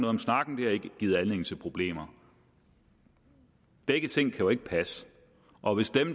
om snakken det har ikke givet anledning til problemer begge ting kan jo ikke passe og hvis dem